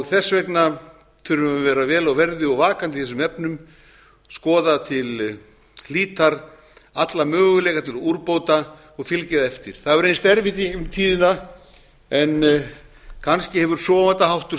þess vegna þurfum við að vera vel á verði og vakandi í þessum efnum skoða til hlítar alla möguleika til úrbóta og fylgja eftir það hefur reynst erfitt í gegnum tíðina en kannski hefur sofandaháttur